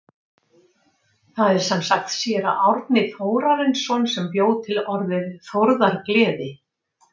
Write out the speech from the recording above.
Það er sem sagt séra Árni Þórarinsson sem bjó til orðið þórðargleði.